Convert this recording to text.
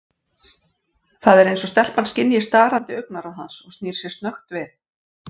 Það er eins og stelpan skynji starandi augnaráð hans og snýr sér snöggt við.